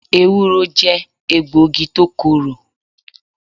Ewúro jẹ́ egbògi tó korò.